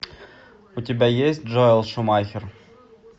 у тебя есть джоэл шумахер